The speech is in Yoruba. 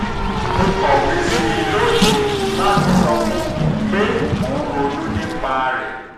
mo kọ̀wé sí i lónìí láti sọ fún un pé mo ń ronú nípa rẹ̀